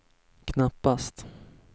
knappast